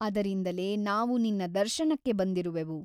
ಅದರಿಂದಲೇ ನಾವು ನಿನ್ನ ದರ್ಶನಕ್ಕೆ ಬಂದಿರುವೆವು.